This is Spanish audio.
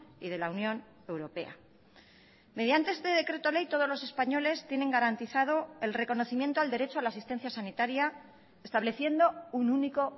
y de la unión europea mediante este decreto ley todos los españoles tienen garantizado el reconocimiento al derecho a la asistencia sanitaria estableciendo un único